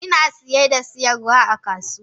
Ina siye da siyarwa a kasuwa.